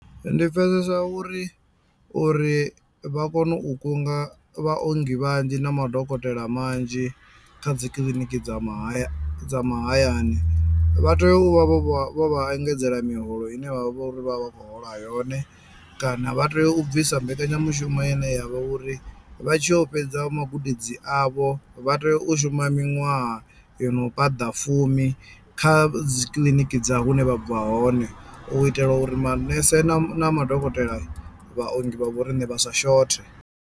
Ndi pfhesesa uri uri vha kono u kunga vha ongi vhanzhi na madokotela manzhi kha dzikiḽiniki dza mahaya dza mahayani vha tea u vha vho vha vho vha engedzelwa miholo ine vhavha vho uri vha vha vha khou hola yone kana vha tea u bvisa mbekanyamushumo ine yavha uri vha tshi yo fhedza magudedzi avho vha tea u shuma miṅwaha yono paḓa fumi kha dzikiḽiniki dza hune vha bva hone u itela uri manese na ma na madokotela vhaongi vha vho rine vha sa shothe.